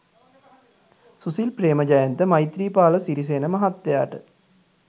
සුසිල් ප්‍රේමජයන්ත මෛත්‍රීපාල සිරිසේන මහත්තයාට